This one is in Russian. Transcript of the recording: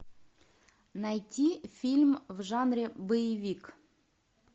найти фильм в жанре боевик